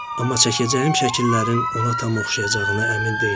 Amma çəkəcəyim şəkillərin ona tam oxşayacağına əmin deyiləm.